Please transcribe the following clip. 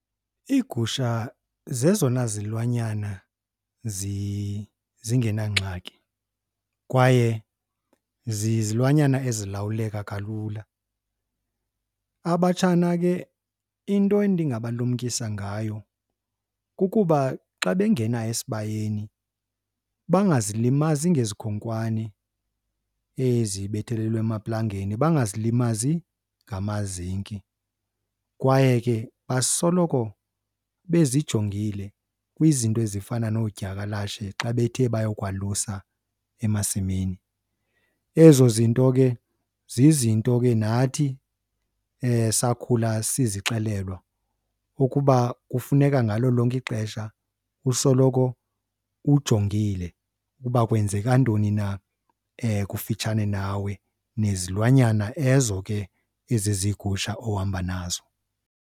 Iigusha zezona zilwanyana zingenangxaki kwaye zizilwanyana ezilawuleka kalula. Abatshana ke into endingabalumkisa ngayo kukuba xa bengena esibayeni bangazilimazi ngezikhonkwane ezibethelelwe emaplangeni bangazilimazi ngamazinki. Kwaye ke basoloko bezijongile kwizinto ezifana noodyakalashe xa bethe bayokwalusa emasimini. Ezo zinto ke zizinto ke nathi sakhula sizixelelwa ukuba kufuneka ngalo lonke ixesha usoloko ujongile uba kwenzeka ntoni na ekufitshane nawe nezilwanyana ezo ke ezizigusha ohamba nazo.